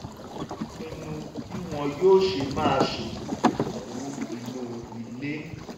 ó pinnu bí wọ́n yóò ṣe máa ṣètò ìnáwó inú ilé